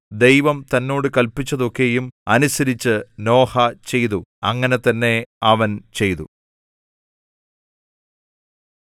ദൈവം തന്നോട് കല്പിച്ചതൊക്കെയും അനുസരിച്ച് നോഹ ചെയ്തു അങ്ങനെ തന്നെ അവൻ ചെയ്തു